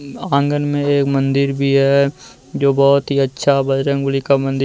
आंगन में एक मंदिर भी है जो बहुत ही अच्छा बजरंगबली का मंदिर--